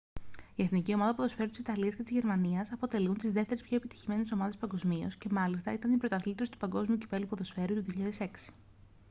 η εθνική ομάδα ποδοσφαίρου της ιταλίας και της γερμανίας αποτελούν τις δεύτερες πιο επιτυχημένες ομάδες παγκοσμίως και μάλιστα ήταν οι πρωταθλήτριες του παγκόσμιου κυπέλλου ποδοσφαίρου του 2006